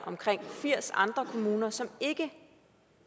omkring firs andre kommuner som ikke